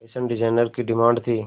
fashion designer की demand थी